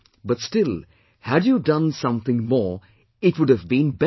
But still, had you done something more, it would have been better